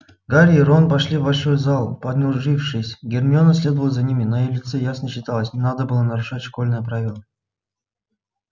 гарри и рон вошли в большой зал понурившись гермиона следовала за ними на её лице ясно читалось не надо было нарушать школьные правила